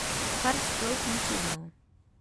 Kar sploh ni čudno.